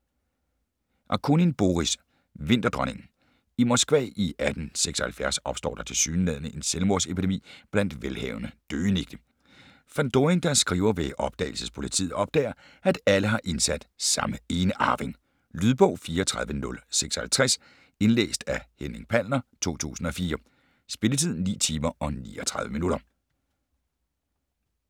Akunin, Boris: Vinterdronningen I Moskva i 1876 opstår der tilsyneladende en selvmordsepidemi blandt velhavende døgenigte. Fandorin, der er skriver ved Opdagelsespolitiet, opdager at alle har indsat samme enearving. Lydbog 34056 Indlæst af Henning Palner, 2004. Spilletid: 9 timer, 39 minutter.